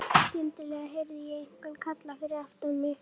Skyndilega heyrði ég einhvern kalla fyrir aftan mig.